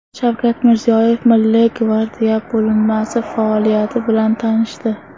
Shavkat Mirziyoyev Milliy gvardiya bo‘linmasi faoliyati bilan tanishdi.